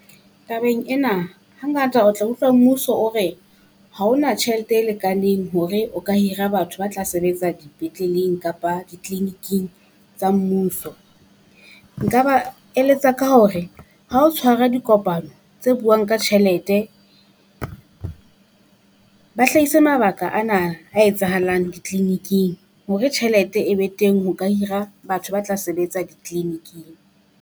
Tabeng ena, hangata o tla utlwa mmuso o re haona tjhelete e lekaneng hore o ka hira batho ba tla sebetsa dipetleleng kapa di-clinic-ing tsa mmuso. Nka ba eletsa ka hore ha o tshwara dikopano tse buang ka tjhelete, ba hlahise mabaka ana a etsahalang di-clinic-ing hore tjhelete e be teng, ho ka hira batho ba tla sebetsa di-clinic-ing.